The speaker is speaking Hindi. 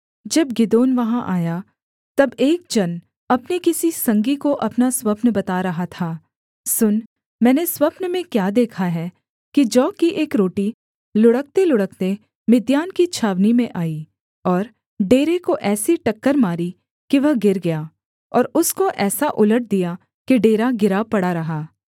जब गिदोन वहाँ आया तब एक जन अपने किसी संगी को अपना स्वप्न बता रहा था सुन मैंने स्वप्न में क्या देखा है कि जौ की एक रोटी लुढ़कतेलुढ़कते मिद्यान की छावनी में आई और डेरे को ऐसी टक्कर मारी कि वह गिर गया और उसको ऐसा उलट दिया कि डेरा गिरा पड़ा रहा